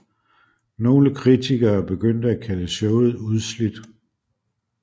Nogle kritikere begyndte at kalde showet udslidt